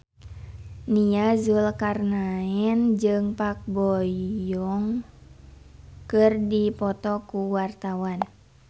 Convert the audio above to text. Nia Zulkarnaen jeung Park Bo Yung keur dipoto ku wartawan